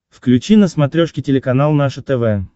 включи на смотрешке телеканал наше тв